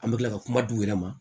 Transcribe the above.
An bɛ tila ka kuma di u yɛrɛ ma